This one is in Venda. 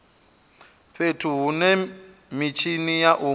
fhethu hune mitshini ya u